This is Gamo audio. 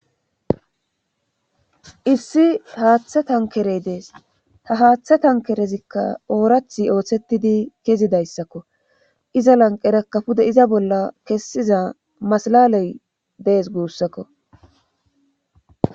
issi haaththe tankerey dees ta haaththe tankerezikka oorathi ooththetidi kezidayssakko iza lanqera kafude iza bolla kessiza masalaley dees guussakko